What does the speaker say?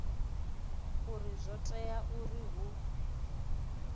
uri zwo tea uri hu